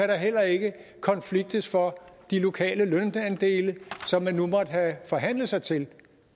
der heller ikke kan konfliktes for de lokale lønandele som man nu måtte have forhandlet sig til